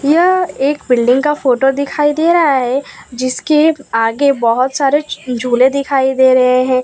यह एक बिल्डिंग का फोटो दिखाई दे रहा है जिसके आगे बहुत सारे झूले दिखाई दे रहे हैं।